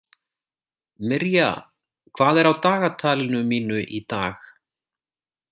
Mirja, hvað er á dagatalinu mínu í dag?